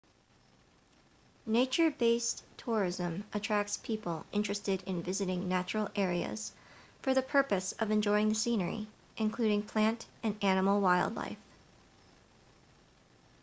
nature-based tourism attracts people interested in visiting natural areas for the purpose of enjoying the scenery including plant and animal wildlife